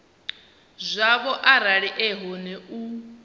zwavho arali e hone u